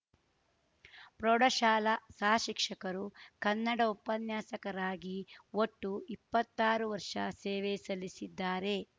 ಪ್ರೌಢಶಾಲಾ ಸಹ ಶಿಕ್ಷಕರು ಕನ್ನಡ ಉಪನ್ಯಾಸಕರಾಗಿ ಒಟ್ಟು ಇಪ್ಪತ್ತಾರು ವರ್ಷ ಸೇವೆ ಸಲ್ಲಿಸಿದ್ದಾರೆ